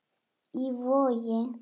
Í Vogi.